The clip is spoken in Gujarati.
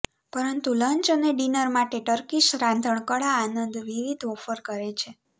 પરંતુ લંચ અને ડિનર માટે ટર્કીશ રાંધણકળા આનંદ વિવિધ ઓફર કરે છે